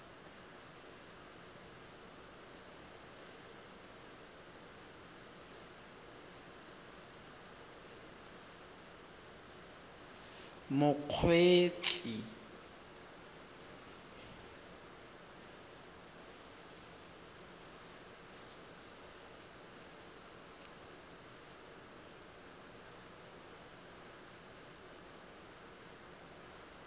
mokgweetsi